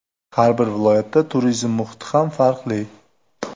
Har bir viloyatda turizm muhiti ham farqli.